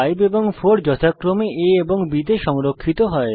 5 এবং 4 যথাক্রমে a এবং b তে সংরক্ষিত হবে